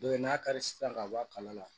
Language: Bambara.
Dɔ ye n'a kari sisan ka bɔ a kala la